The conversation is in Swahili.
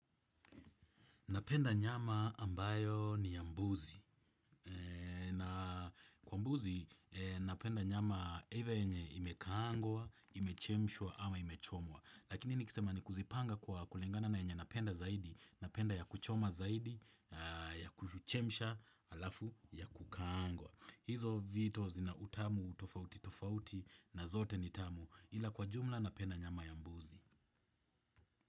Napenda nyama ambayo ni ya mbuzi. Kwa mbuzi, napenda nyama either yenye imekangwa, imechemshwa ama imechomwa. Lakini nikisema ni kuzipanga kwa kulingana na yenye napenda zaidi, napenda ya kuchoma zaidi, ya kuchemshwa, alafu ya kukangwa. Hizo vitu zina utamu, tofauti, tofauti na zote ni tamu ila kwa jumla napenda nyama ya mbuzi.